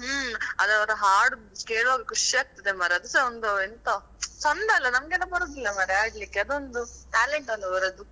ಹ್ಮ್ ಆದ್ರೆ ಅವರು ಹಾಡುದು ಕೇಳುವಾಗ ಖುಷಿ ಆಗ್ತದೆ ಮಾರ್ರೆ, ಅದುಸಾ ಒಂದು ಎಂತ ಚಂದ ಅಲ್ಲ ನಮ್ಗೆಲ್ಲಾ ಬರುದಿಲ್ಲ ಮಾರ್ರೆ ಹಾಡ್ಲಿಕ್ಕೆ ಅದೊಂದು talent ಅಲ್ಲ ಅವರದ್ದು